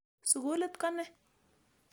Sukulit ko ne?